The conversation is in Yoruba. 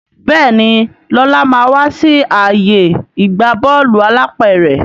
Béèni Lọla má wá sí ààyè ìgbà Bọ́ọ̀lù alápẹ̀rẹ̀.